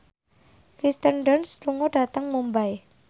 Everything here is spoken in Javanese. Kirsten Dunst lunga dhateng Mumbai